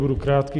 Budu krátký.